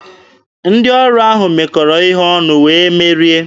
Ndị ọrụ ahụ mekọrọ ihe ọnụ, wee merie.